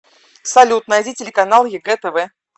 салют найди телеканал егэ тв